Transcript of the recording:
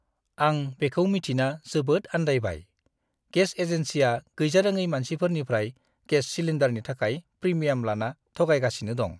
आं बेखौ मिथिना जोबोद आन्दायबाय, गेस एजेन्सिआ गैजारोङै मानसिफोरनिफ्राय गेस सिलिन्डारनि थाखाय प्रिमियाम लाना थगायगासिनो दं।